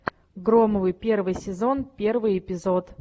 громовы первый сезон первый эпизод